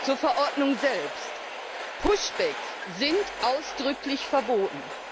Zur Verordnung selbst Pushbacks sind ausdrücklich verboten.